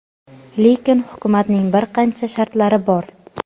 lekin hukumatning bir qancha shartlari bor.